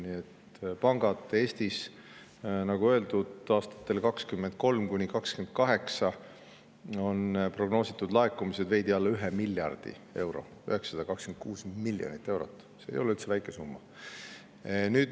Nii et Eestis on, nagu öeldud, aastatel 2023–2028 pankade prognoositud laekumised veidi alla 1 miljardi euro, 926 miljonit eurot, mis ei ole üldse väike summa.